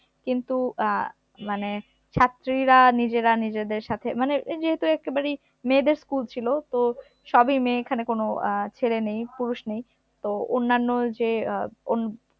কিন্তু আহ মানে ছাত্রীরা নিজেরা নিজেদের সাথে মানে এই যেহেতু একেবারেই মেয়েদের school ছিল তো সবই মেয়ে এখানে কোন আহ ছেলে নেই পুরুষ নেই তো অন্যান্য যে আহ